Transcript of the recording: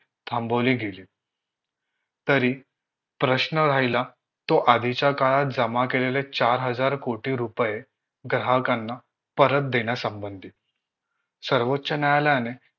थांबवली गेली तरी प्रश्न राहिला तो आदींच्या काळात जमा केलेले चार हजार कोटी रुपये ग्राहकांना परत देण्यासंबंधी सर्वोच्च न्यायालयाने